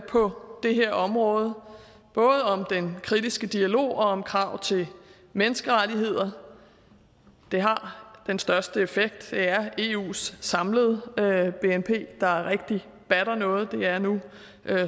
på det her område både om den kritiske dialog og om krav til menneskerettigheder det har den største effekt det er eus samlede bnp der rigtig batter noget det er nu